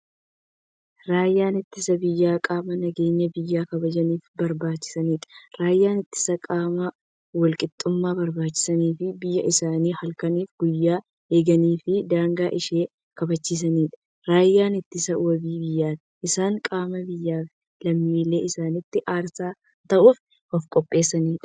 Raayyaan ittisa biyyaa qaama nageenya biyya kabajaniifi kabachiisaniidha. Raayyaan ittisaa qaama walqixxummaa kabachisaniifi biyyaa isaanii halkaniif guyyaa eeganiifi daangaa ishee kabachiisaniidha. Raayyaan ittisaa wabii biyyaati. Isaan qaama biyyaafi lammiilee isaanitiif aarsaa ta'uuf ofqopheessaniidha.